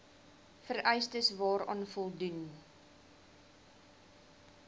vereistes waaraan voldoen